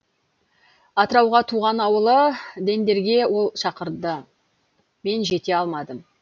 атырауға туған ауылы дендерге ол шақырды мен жете алмадым